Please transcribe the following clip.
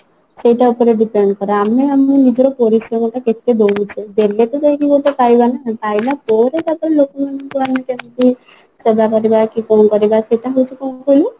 ସେଇଟା ଉପରେ depend କରେ ଆମେ ଆମ ନିଜର ପରିଶ୍ରମଟା କେତେ ଦଉଛେ ଦେଲେ ତ ଯାଇକି ଗୋଟେ ପାଇବା ନା ପାଇଲା ପରେ ତାପରେ ଲୋକମାନଙ୍କୁ ଆଣି ଯେମତି ସଭା କରିବା କି କଣ କରିବା ସେଟା ହଉଛି କଣ କହିଲୁ